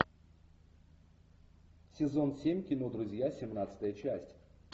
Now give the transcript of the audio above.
сезон семь кино друзья семнадцатая часть